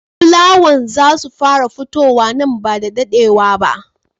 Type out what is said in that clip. Fula wow I za su fara futuwa nan ba da daɗewa ba.